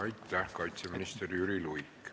Aitäh, kaitseminister Jüri Luik!